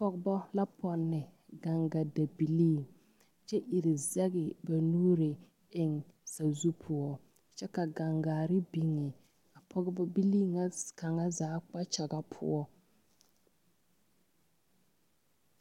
Ɔgeba la pɔnne gangadabilii kyɛ iri zɛge ba nuuri eŋ sazu poɔ kyɛ ka gangaare biŋe pɔgebilii na kaŋa zaa kpakyaga poɔ.